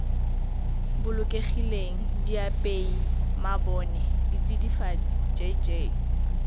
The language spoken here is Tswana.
bolokegileng diapei mabone ditsidifatsi jj